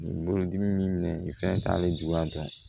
Nin bolodimi minɛ nin fɛn t'ale jula dɔrɔn